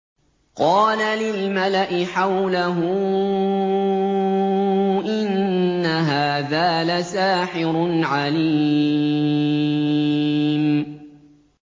قَالَ لِلْمَلَإِ حَوْلَهُ إِنَّ هَٰذَا لَسَاحِرٌ عَلِيمٌ